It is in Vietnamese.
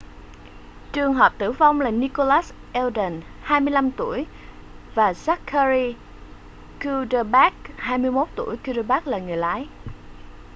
trường hợp tử vong là nicholas alden 25 tuổi và zachary cuddeback 21 tuổi cuddeback là người lái